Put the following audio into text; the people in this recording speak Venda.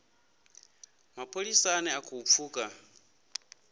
mapholisa ane a khou pfuka